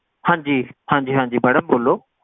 ਹਾਂਜੀ ਹਾਂਜੀ ਹਾਂਜੀ madam ਬੋਲੋ